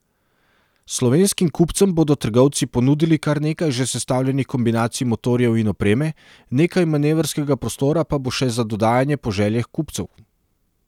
Slovenskim kupcem bodo trgovci ponudili kar nekaj že sestavljenih kombinacij motorjev in opreme, nekaj manevrskega prostora pa bo še za dodajanje po željah kupcev.